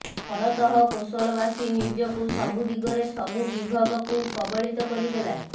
ଫଳତଃ କୋଶଲ ବାସୀ ନିଜକୁ ସବୁ ଦିଗରେ ସବୁ ବିଭବକୁ କବଳିତ କରିଦେଲା